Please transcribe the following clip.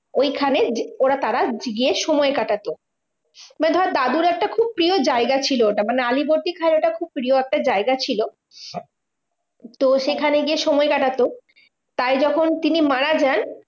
ঐখানে ওরা তারা গিয়ে সময় কাটাতো। মানে ধর দাদুর একটা খুব প্রিয় জায়গা ছিল ওটা। মানে আলীবর্দী খাঁয়ের ওটা খুব প্রিয় একটা জায়গা ছিল। তো সেখানে গিয়ে সময় কাটাত, তাই যখন তিনি মারা যান